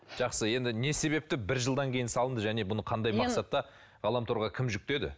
жақсы енді не себепті бір жылдан кейін салынды және бұны қандай мақсатта ғаламторға кім жүктеді